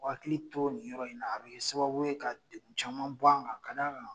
U hakili to nin yɔrɔ in na a be kɛ sababu ka degun caman bɔ an kan ka d'a kan